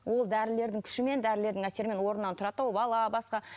ол дәрілердің күшімен дәрілердің әсерімен орнынан тұрады да ол бала басқа